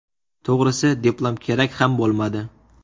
To‘g‘risi, diplom kerak ham bo‘lmadi.